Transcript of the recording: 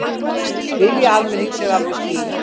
Vilji almennings er alveg skýr